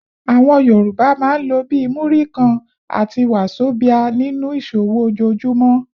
Àwọn Yorùbá máa ń lò bí “Múrí kan” àti “wàzobíà” nínú ìṣòwò ojoojúmọ́.